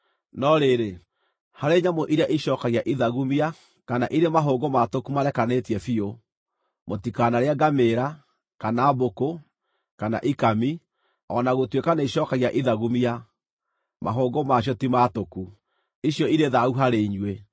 No rĩrĩ, harĩ nyamũ iria ĩcookagia ithagumia kana irĩ mahũngũ maatũku marekanĩtie biũ, mũtikanarĩe ngamĩĩra, kana mbũkũ, kana ikami. O na gũtuĩka nĩicookagia ithagumia, mahũngũ ma cio ti maatũku, icio irĩ thaahu harĩ inyuĩ.